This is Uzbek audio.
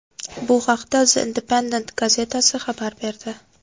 Bu haqda The Independent gazetasi xabar berdi .